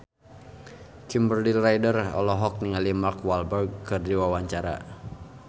Kimberly Ryder olohok ningali Mark Walberg keur diwawancara